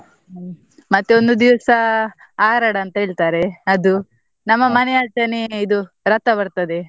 ಹ್ಮ್ ಮತ್ತೆ ಒಂದು ದಿವ್ಸ ಆರಡ ಅಂತ ಹೇಳ್ತಾರೆ ಅದು, ನಮ್ಮ ಆಚೇನೆ ಇದು ರಥ ಬರ್ತದೆ.